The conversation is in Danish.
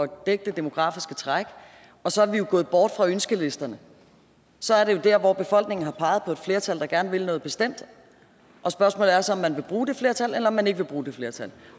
dække det demografiske træk og så er vi jo gået bort fra ønskesedlerne så er det jo der hvor befolkningen har peget på et flertal der gerne vil noget bestemt og spørgsmålet er så om man vil bruge det flertal eller om man ikke vil bruge det flertal